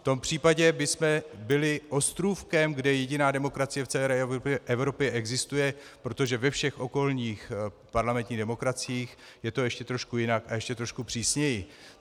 V tom případě bychom byli ostrůvkem, kde jediná demokracie v celé Evropě existuje, protože ve všech okolních parlamentních demokraciích je to ještě trochu jinak a ještě trošku přísněji.